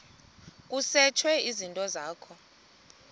kusetshwe izinto zakho